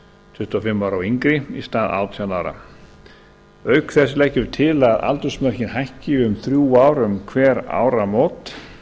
tuttugu og fimm ára og yngri í stað átján ára auk þess leggjum við til að aldursmörkin hækki um þrjú ár um hver áramót